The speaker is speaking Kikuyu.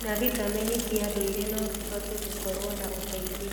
na vitameni cia ndũire no cihote gũkorwo na ũteithio.